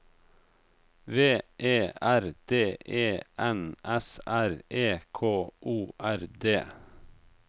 V E R D E N S R E K O R D